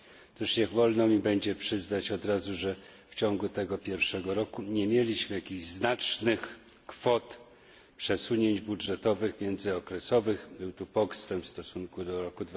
Otóż niech wolno mi będzie przyznać od razu, że w ciągu tego pierwszego roku nie mieliśmy znacznych kwot przesunięć budżetowych międzyokresowych, był tu postęp w stosunku do roku